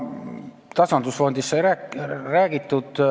Tasandusfondist sai juba räägitud.